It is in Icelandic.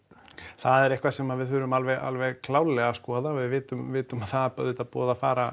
það er eitthvað sem við þurfum alveg alveg klárlega að skoða við vitum vitum að það er auðvitað búið að fara